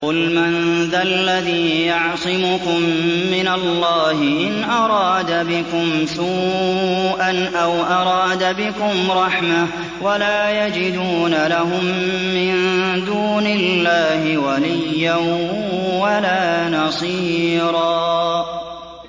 قُلْ مَن ذَا الَّذِي يَعْصِمُكُم مِّنَ اللَّهِ إِنْ أَرَادَ بِكُمْ سُوءًا أَوْ أَرَادَ بِكُمْ رَحْمَةً ۚ وَلَا يَجِدُونَ لَهُم مِّن دُونِ اللَّهِ وَلِيًّا وَلَا نَصِيرًا